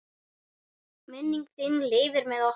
Minning þín lifir með okkur.